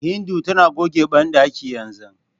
Hindu tana goge banɗakin yanzu.